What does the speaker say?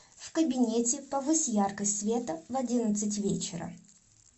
в кабинете повысь яркость света в одиннадцать вечера